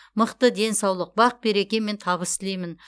мықты денсаулық бақ береке мен табыс тілеймін